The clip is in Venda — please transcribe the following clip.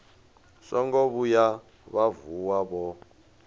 songo vhuya vha vuwa vho